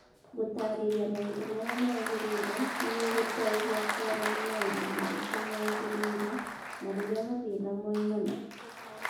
Gũtaarĩria maũndũ marĩa magĩrĩire nĩ gũgũteithia kuona nĩ maũndũ marĩkũ magĩrĩire na rĩrĩa mathĩna moimana.